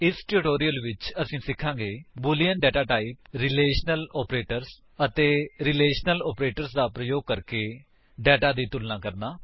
ਇਸ ਟਿਊਟੋਰਿਅਲ ਵਿੱਚ ਅਸੀ ਸਿਖਾਂਗੇ Boolean data type Boolean data type relational operators ਅਤੇ ਰੀਲੇਸ਼ਨਲ ਆਪਰੇਟਰਜ਼ ਦਾ ਪ੍ਰਯੋਗ ਕਰਕੇ ਦਾਤਾ ਦੀ ਤੁਲਨਾ ਕਰਨਾ